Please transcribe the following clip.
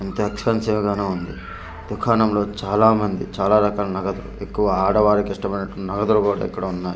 అంతా ఎక్స్పెన్సివ్ గానే ఉంది దుకాణంలో చాలా మంది చాలా రకాల నగదు ఎక్కువ ఆడవారికి ఇష్టం అయినటి నగదు కూడా ఇక్కడ ఉన్నాయి.